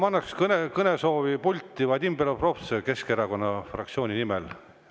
Aga kõne puldist, Vadim Belobrovtsev Keskerakonna fraktsiooni nimel.